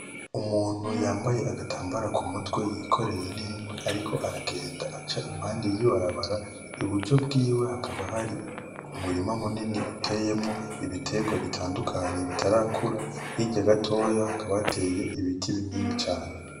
Umuntu yambaye agatambara kumutwe yikoreye ninkwi ariko aragenda aca impande y’ibarabara. Iburyo bwiwe hakaba hari umurima munini uteyemwo ibiterwa bitandukanye bitarakura, hirya gatoya hakaba hateye ibiti binini cane.